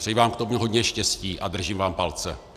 Přeji vám k tomu hodně štěstí a držím vám palce.